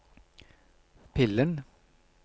pillen